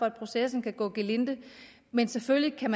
at processen kan gå gelinde men selvfølgelig kan